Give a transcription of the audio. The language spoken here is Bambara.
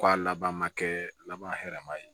Ko a laban ma kɛ laban hɛrɛma ye